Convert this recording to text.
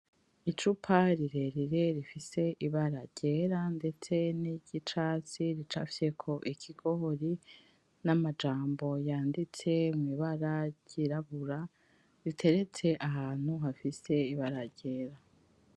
Icupa rirerire rifise ibara ryera ndetse niryicatsi ricafyeko ikigori n'amajambo yanditse mwibara ryirabura riteretse ahantu hafise ibara ryera,